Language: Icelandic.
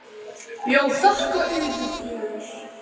Já, þakka yður fyrir.